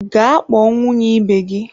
Gaa kpọọ nwunye ibe gị!